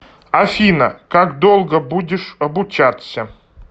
афина как долго будешь обучаться